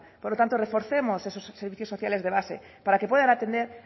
por lo tanto reforcemos esos servicios sociales de base para que puedan atender